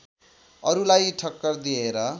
अरूलाई ठक्कर दिएर